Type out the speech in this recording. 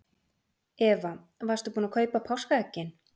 Eva: Varstu búin að kaupa páskaeggin?